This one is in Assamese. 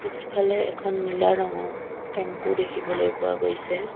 পিছফালে এখন নীলা ৰঙৰ টেম্পো দেখিবলৈ পোৱা গৈছে।